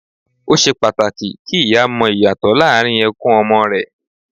Ó ṣe pàtàkì kí ìyá mọ ìyàtọ̀ láàrín ẹkún ọmọ rẹ